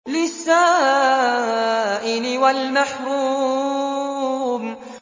لِّلسَّائِلِ وَالْمَحْرُومِ